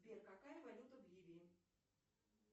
сбер какая валюта в ливии